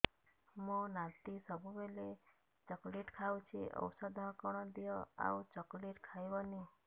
ମୋ ନାତି ସବୁବେଳେ ଚକଲେଟ ଖାଉଛି ଔଷଧ କଣ ଦିଅ ଆଉ ଚକଲେଟ ଖାଇବନି